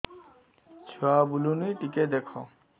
ଛୁଆ ବୁଲୁନି ଟିକେ ଦେଖ